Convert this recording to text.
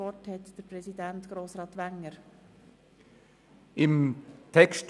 Zuerst hat der Kommissionspräsident für die Mehrheit das Wort.